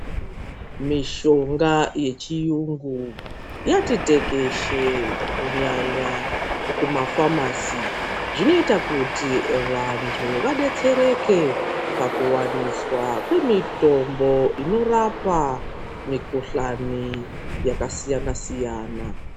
Mishonga yechiyungu yatitekeshe kunyanya kumafamasi ,zvinoita kuti vantu vabetsereke pakuwaniswa kwemitombo inorapa mukuhlani yakasiyana siyana.